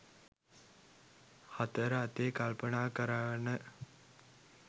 හතර අතේ කල්පනා කරවන